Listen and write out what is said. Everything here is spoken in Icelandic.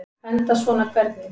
Enda svona hvernig?